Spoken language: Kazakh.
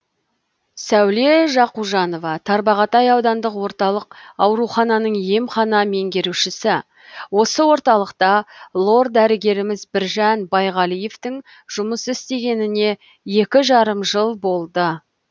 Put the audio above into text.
сәуле жақужанова тарбағатай аудандық орталық аурухананың емхана меңгерушісі осы орталықта лор дәрігеріміз біржан байғалиевтің жұмыс істегеніне екі жарым жыл болды